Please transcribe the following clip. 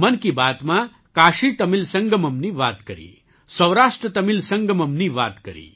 મન કી બાતમાં કાશીતમિલ સંગમમની વાત કરી સૌરાષ્ટ્રતમિલ સંગમમની વાત કરી